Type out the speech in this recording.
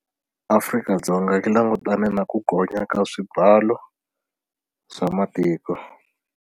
Afrika-Dzonga yi langutane na ku gonya ka swibalo swa matiko.